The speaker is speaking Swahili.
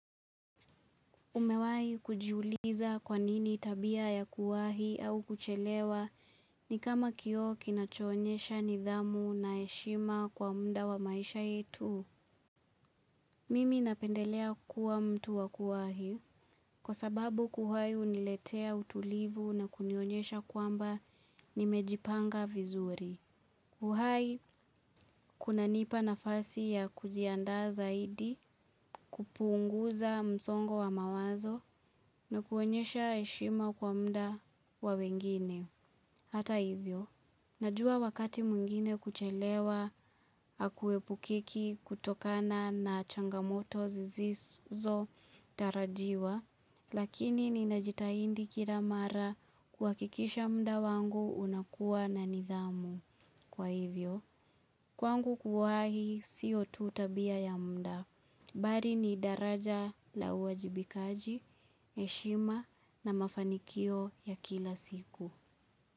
Umewai kujiuliza kwanini tabia ya kuwahi au kuchelewa ni kama kioo kinachoonyesha nidhamu na heshima kwa mda wa maisha yetu. Mimi napendelea kuwa mtu wa kuwahi kwa sababu kuwahi uniletea utulivu na kunionyesha kwamba nimejipanga vizuri. Kuhai, kuna nipa nafasi ya kujianda zaidi kupunguza msongo wa mawazo na kuonyesha heshima kwa mda wa wengine. Hata hivyo, najua wakati mwingine kuchelewa hakuepukiki kutokana na changamoto zisizo tarajiwa, lakini ni najitaidi kila mara kuwakikisha mda wangu unakuwa na nidhamu. Kwa hivyo, kwangu kuwahi, siyo tu tabia ya mda. Bali ni daraja la uajibikaji, heshima na mafanikio ya kila siku.